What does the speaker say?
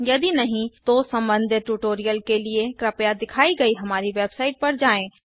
यदि नहीं तो संबंधित ट्यूटोरियल के लिए कृपया दिखाई गए हमारी वेबसाइट पर जाएँ